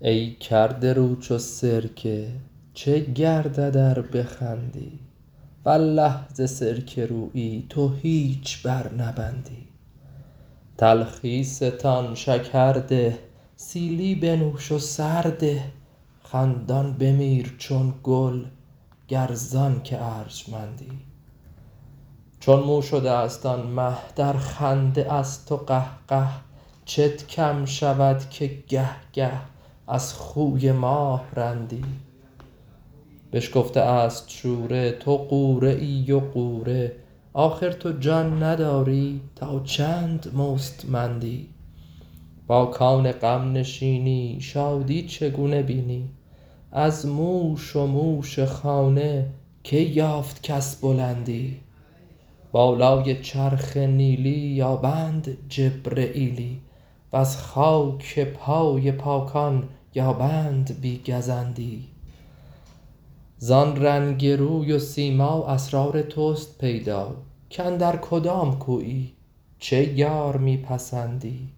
ای کرده رو چو سرکه چه گردد ار بخندی والله ز سرکه رویی تو هیچ برنبندی تلخی ستان شکر ده سیلی بنوش و سر ده خندان بمیر چون گل گر ز آنک ارجمندی چون مو شده ست آن مه در خنده است و قهقه چت کم شود که گه گه از خوی ماه رندی بشکفته است شوره تو غوره ای و غوره آخر تو جان نداری تا چند مستمندی با کان غم نشینی شادی چگونه بینی از موش و موش خانه کی یافت کس بلندی بالای چرخ نیلی یابند جبرییلی وز خاک پای پاکان یابند بی گزندی زان رنگ روی و سیما اسرار توست پیدا کاندر کدام کویی چه یار می پسندی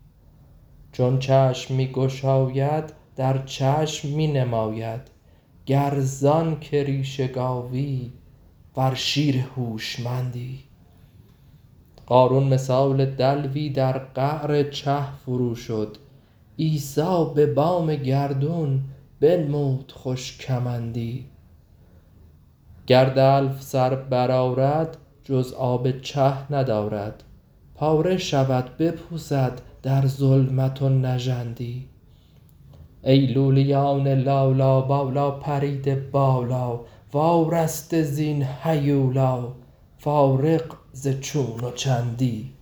چون چشم می گشاید در چشم می نماید گر ز آنک ریش گاوی ور شیر هوشمندی قارون مثال دلوی در قعر چه فرو شد عیسی به بام گردون بنمود خوش کمندی گر دلو سر برآرد جز آب چه ندارد پاره شود بپوسد در ظلمت و نژندی ای لولیان لالا بالا پریده بالا وارسته زین هیولا فارغ ز چون و چندی